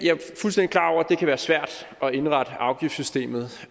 det kan være svært at indrette afgiftssystemet